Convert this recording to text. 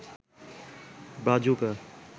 Brazuca